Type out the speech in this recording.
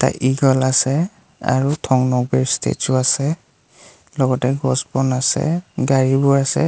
Eagle আছে আৰু statue আছে লগতে গছ বন আছে গাড়ীবোৰ আছে।